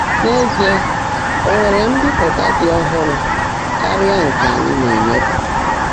N’ézíe, ó nwèrè mbị́pụ́tá ḍị́ ọ́hụ́rụ́ kárị́á nkè ányị́ ná-ényèefé.